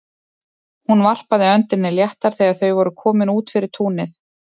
Hún varpaði öndinni léttar þegar þau voru komin út fyrir túnið.